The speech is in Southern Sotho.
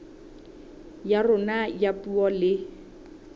ya rona ya puo le